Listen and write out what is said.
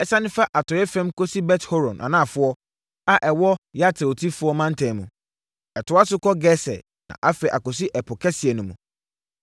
Esiane fa atɔeɛ fam kɔsi Bet-Horon Anafoɔ a ɛwɔ Yafletifoɔ mantam mu. Ɛtoa so kɔ Geser na afei akɔsi Ɛpo Kɛseɛ no mu.